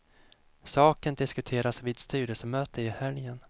Saken diskuteras vid styrelsemöte i helgen.